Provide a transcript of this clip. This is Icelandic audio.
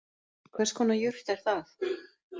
Hvers konar jurt er það